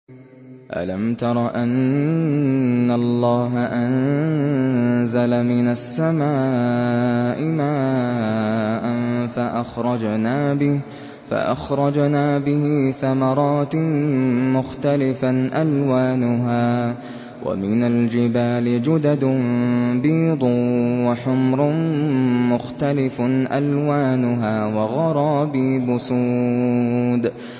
أَلَمْ تَرَ أَنَّ اللَّهَ أَنزَلَ مِنَ السَّمَاءِ مَاءً فَأَخْرَجْنَا بِهِ ثَمَرَاتٍ مُّخْتَلِفًا أَلْوَانُهَا ۚ وَمِنَ الْجِبَالِ جُدَدٌ بِيضٌ وَحُمْرٌ مُّخْتَلِفٌ أَلْوَانُهَا وَغَرَابِيبُ سُودٌ